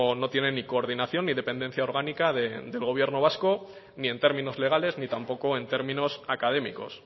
no tiene ni coordinación ni dependencia orgánica del gobierno vasco ni en términos legales ni tampoco en términos académicos